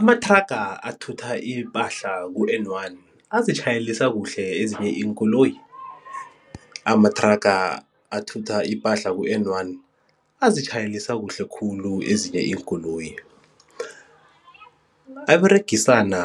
Amathraga athutha ipahla ku-N one azitjhayelisa kuhle ezinye iinkoloyi? Amathraga athutha ipahla ku-N one azitjhayelisa kuhle khulu ezinye iinkoloyi. Aberegisana